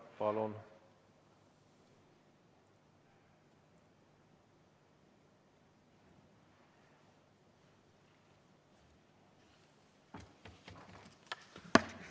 Palun!